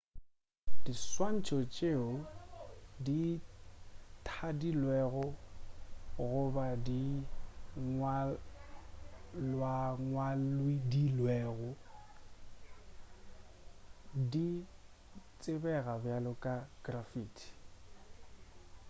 diswantšho tšeo di thadilwego goba di ngwalwangwadilwego di tsebega bjalo ka graffiti